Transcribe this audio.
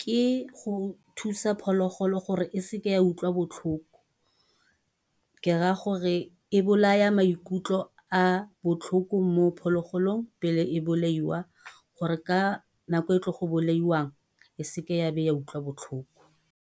ke go thusa phologolo gore e seke ya utlwa botlhoko. Ke ra gore e bolaya maikutlo a botlhoko mo phologolong, pele e bolaiwa. Gore ka nako e tle go bolaiwang, e seke ya be ya utlwa botlhoko.